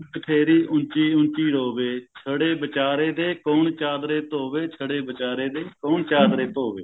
ਤੇਰੀ ਉਂਚੀ ਉਂਚੀ ਰੋਵੇ ਛੜੇ ਵਿਚਾਰੇ ਦੇ ਕੋਣ ਚਾਦਰੇ ਧੋਵੇ ਛੜੇ ਵਿਚਾਰੇ ਦੇ ਕੋਣ ਚਾਦਰੇ ਧੋਵੇ